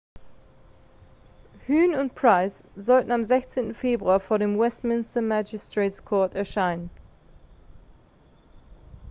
huhne und pryce sollen am 16. februar vor dem westminster magistrates court erscheinen